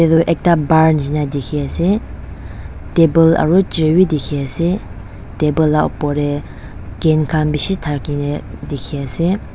aru ekta bar nishina dikhi ase table aru chair wi dikhi ase table la opor teh can khan bishi thakiney dikhi ase.